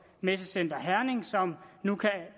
messecenter herning som nu kan